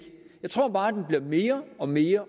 med tror bare den bliver mere og mere